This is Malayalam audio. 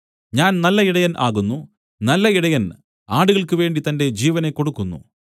ഞാൻ നല്ല ഇടയൻ ആകുന്നു നല്ല ഇടയൻ ആടുകൾക്ക് വേണ്ടി തന്റെ ജീവനെ കൊടുക്കുന്നു